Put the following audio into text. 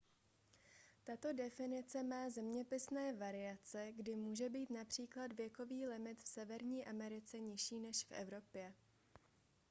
tato definice má zeměpisné variace kdy může být například věkový limit v severní americe nižší než v evropě